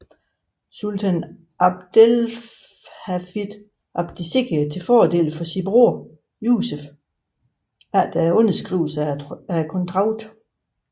Sultan Abdelhafid abdicerede til fordel for sin broder Yusef efter underskrivelsen af traktaten